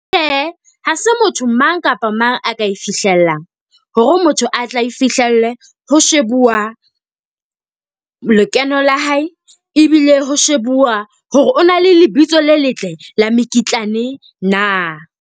Tjhe, ha se motho mang kapa mang a ka e fihlelang. Hore o motho a tla e fihlelle, ho shebuwa lekeno la hae. ebile ho shebuwa hore o na le lebitso le letle la mekitlane na.